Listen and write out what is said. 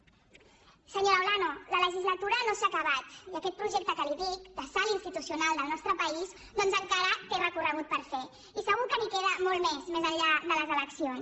senyora olano la legislatura no s’ha acabat i aquest projecte que li dic de salt institucional del nostre país doncs encara té recorregut per fer i segur que n’hi queda molt més més enllà de les eleccions